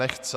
Nechce.